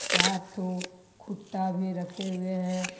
चार ठो कुत्ता भी रखे हुए हैं।